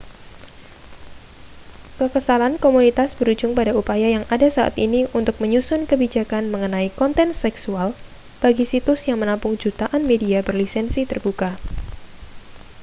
kekesalan komunitas berujung pada upaya yang ada saat ini untuk menyusun kebijakan mengenai konten seksual bagi situs yang menampung jutaan media berlisensi terbuka